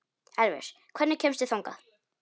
Elvis, hvernig kemst ég þangað?